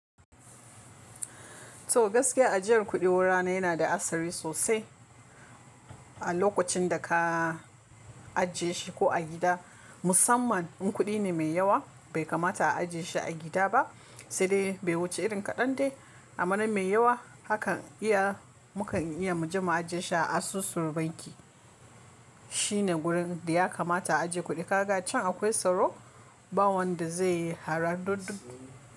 To gaskiya ajiyar kuɗi wurana yana da asari sosai a lokacin da ka ajiye shi ko a gida. Musamman in kuɗi ne mai yawa bai kamata a ajiye shi a gida ba, sai dai bai wuce irin kaɗan dai. Amman mai yawa hakan iya mu kan iya mu je mu ajiye shi a asusu banki. Shine gurin da ya kamata a ajiye kuɗi. Ka ga can akwai tsaro, ba wanda zai yi haradudin.